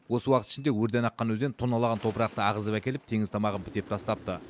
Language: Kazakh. осы уақыт ішінде өрден аққан өзен тонналаған топырақты ағызып әкеліп теңіз тамағын бітеп тастапты